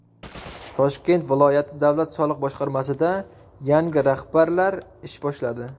Toshkent viloyati davlat soliq boshqarmasida yangi rahbarlar ish boshladi.